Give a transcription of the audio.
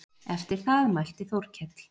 Eftir það mælti Þórkell